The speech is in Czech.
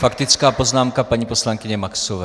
Faktická poznámka paní poslankyně Maxové.